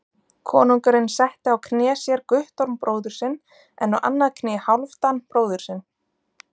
Konungurinn setti á kné sér Guttorm bróður sinn, en á annað kné Hálfdan bróður sinn.